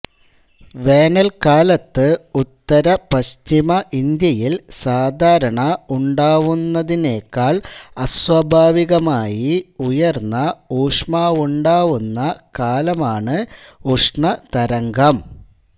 വേനൽകാലത്ത് ഉത്തര പശ്ചിമ ഇന്ത്യയിൽ സാധാരണ ഉണ്ടാവുന്നതിനേക്കാൾ അസ്വാഭാവികമായി ഉയർന്ന ഊഷ്മാവുണ്ടാവുന്ന കാല മാണ് ഉഷ്ണ തരംഗം